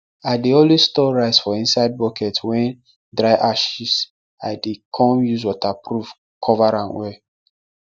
i dey always store rice for inside bucket wen dry ashes l dey com use waterproof cover am well